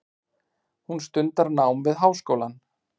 Hún stundar nám við háskólann.